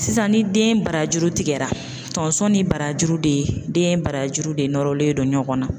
Sisan ni den barajuru tigɛra, tonso ni barajuru de, den barajuru de nɔrɔlen don ɲɔgɔn na.